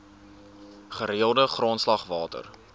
gereelde grondslag water